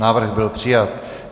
Návrh byl přijat.